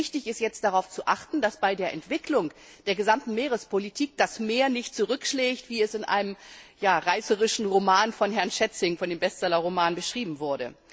Wichtig ist, jetzt darauf zu achten, dass bei der Entwicklung der gesamten Meerespolitik das Meer nicht zurückschlägt, wie es in einem reißerischen Roman des Bestsellerautors Frank Schätzing beschrieben wird.